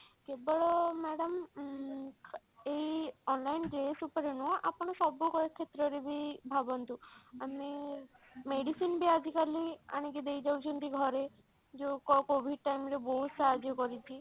କେବଳ madam ଉଁ ଏଇ online ରେ dress ଉପରେ ନୁହଁ ଆପଣ ସବୁ କ୍ଷେତ୍ର ରେ ବି ଭାବନ୍ତୁ ଆମେ medicine ବି ଆଜି କାଲି ଆଣିକି ଦେଇ ଯାଉଛନ୍ତି ଘରେ ଯଉ COVID time ରେ ବହୁତ ସାହାଯ୍ୟ କରିଛି